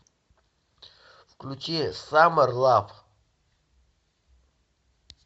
включи саммер лав